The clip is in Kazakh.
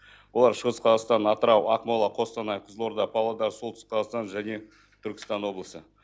олар шығыс қазақстан атырау ақмола қостанай қызылорда павлодар солтүстік қазақстан және түркістан облысы